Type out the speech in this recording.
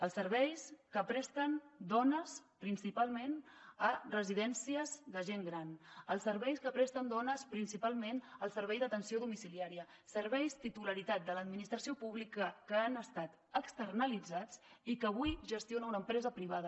els serveis que presten dones principalment a residències de gent gran els serveis que presten dones principalment al servei d’atenció domiciliària serveis titularitat de l’administració pública que han estat externalitzats i que avui gestiona una empresa privada